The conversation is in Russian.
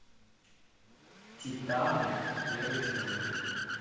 титаны первый сезон